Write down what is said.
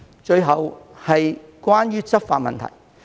最後是執法問題。